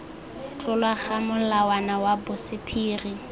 tlolwa ga molawana wa bosephiri